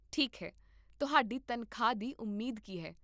ਠੀਕ ਹੈ, ਤੁਹਾਡੀ ਤਨਖਾਹ ਦੀ ਉਮੀਦ ਕੀ ਹੈ?